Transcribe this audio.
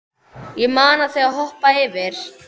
Ég mana þig að hoppa yfir.